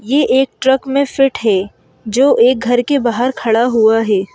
ये एक ट्रक में फिट है जो एक घर के बाहर खड़ा हुआ है।